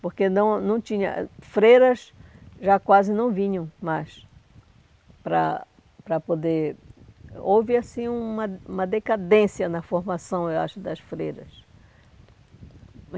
Porque não não tinha... Freiras já quase não vinham mais para para poder... Houve, assim, uma uma decadência na formação, eu acho, das freiras.